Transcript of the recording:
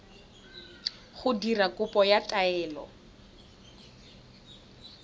go dira kopo ya taelo